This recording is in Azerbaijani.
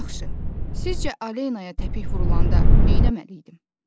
Yaxşı, sizcə Alenaya təpik vurulanda nə etməli idim?